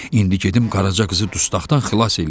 İndi gedim Qaraca qızı dustaqdan xilas eləyim.